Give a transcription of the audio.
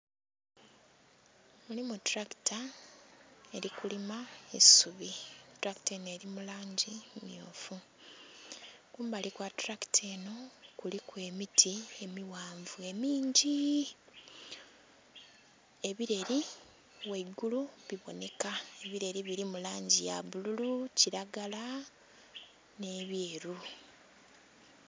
Mulimu tulakita elikulima eisubi, tulakita enho eri mu langi mmyufu kumbali kwa tulakita enho kuliku emiti emighanvu emiingii.. Ebileeli ghaigulu bibonheka ebileeli birimu langi bbululu, kilagala nhe byeru.